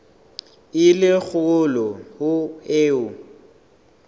e le kgolo ho eo